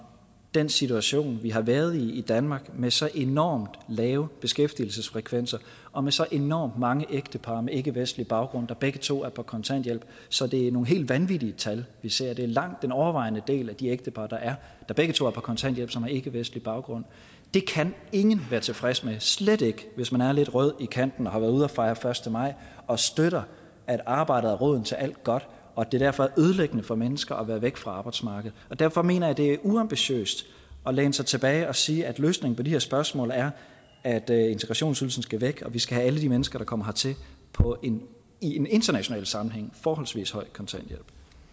den situation vi har været i i danmark med så enormt lave beskæftigelsesfrekvenser og med så enormt mange ægtepar med ikkevestlig baggrund hvor begge to er på kontanthjælp så det er nogle helt vanvittige tal vi ser det er langt den overvejende del af de ægtepar der er hvor begge to er på kontanthjælp som har ikkevestlig baggrund det kan ingen være tilfreds med og slet ikke hvis man er lidt rød i kanten og har været ude at fejre første maj og støtter at arbejdet er roden til alt godt og at det derfor er ødelæggende for mennesker at være væk fra arbejdsmarkedet derfor mener jeg det er uambitiøst at læne sig tilbage og sige at løsningen på de her spørgsmål er at at integrationsydelsen skal væk og at vi skal have alle de mennesker der kommer hertil på en i en international sammenhæng forholdsvis høj kontanthjælp